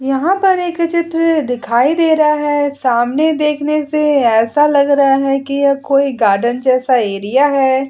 यहाँ पर एक चित्र दिखाई दे रहा है। सामने देखने से ऐसा लग रहा है की यह कोइ गार्डन जैसा एरिया है।